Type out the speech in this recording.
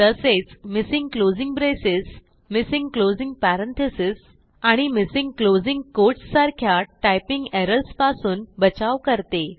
तसेच missing closing braces missing closing parentheses आणि missing closing quotes सारख्या टायपिंग एरर्स पासून बचाव करते